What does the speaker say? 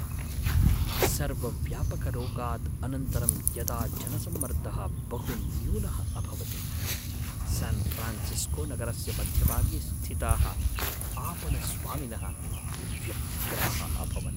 सर्वव्यापकरोगात् अनन्तरं यदा जनसम्मर्दः बहुन्यूनः अभवत्, स्यान्फ़्रान्सिस्कोनगरस्य मध्यभागे स्थिताः आपणस्वामिनः व्यग्राः अभवन्।